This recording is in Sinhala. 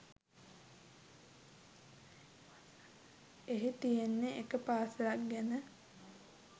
එහි තියෙන්නේ එක පාසලක් ගැන